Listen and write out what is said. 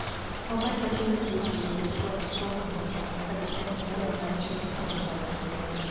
Obat wacho ni jii oseyudo chwat kuom madho kong`o kabende olero rach metho mokalo kiewo.